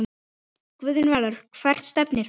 Guðjón Valur Hvert stefnir þú?